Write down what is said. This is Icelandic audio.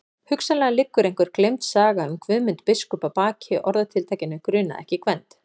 Hugsanlega liggur einhver gleymd saga um Guðmund biskup að baki orðatiltækinu grunaði ekki Gvend.